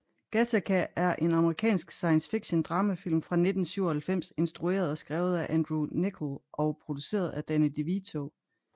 Gattaca er en amerikansk science fiction dramafilm fra 1997 instrueret og skrevet af Andrew Niccol og produceret af Danny DeVito